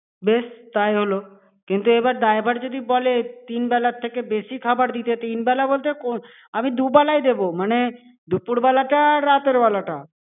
বেশ, তাই হলো। কিন্তু এবার driver যদি বলে, তিন বেলার থেকে বেশি খাবার দিতে, তিন বেলা বলতে, আমি দুবেলা দেবো মানে দুপুর বেলাটা আর রাতের বেলাটা।